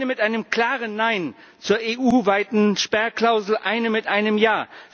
Eine mit einem klaren Nein zur EU weiten Sperrklausel, eine mit einem Ja.